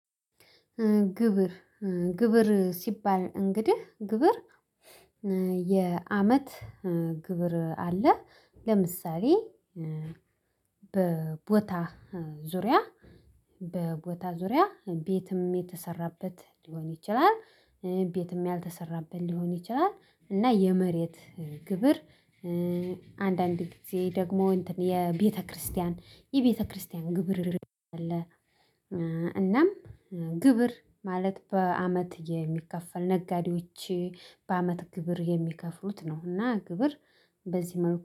ግብር ግብር ሲባል እንግዲህ ግብር የአመት ግብር አለ። ለምሳሌ በቦታ ዙሪያ በቦታ ዙሪያ ቤትም የተሰራበት ሊሆን ይችላል። ቤትም ያልተሰራበት ሊሆን ይችላል። እና የመሬት ግብር። አንዳንድ ጊዜ ደግሞ የቤተክርስቲያን የቤተክርስቲያን ግብር አለ። እናም ግብር ማለት በአመት የሚከፈል ነጋዴዎች በአመት ግብር የሚከፍሉት ነውና ግብር። በዚህ መልኩ